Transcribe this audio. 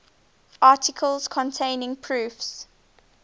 articles containing proofs